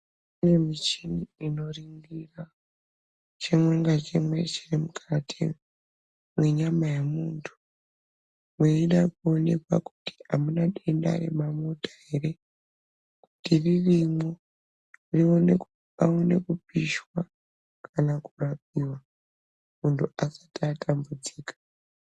Kune michini inoringira chimwe ngachimwe chiri mukati mwenyama yemunhu weida kuonekwa kuti amuna denda remamota ere. Kuti rirmwo paone kupishwa kana kurapiwa muntu asati atambudzika.